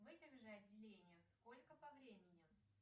в этих же отделениях сколько по времени